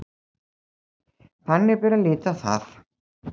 Þannig bera að líta á það